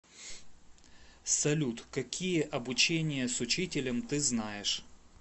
салют какие обучение с учителем ты знаешь